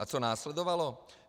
A co následovalo?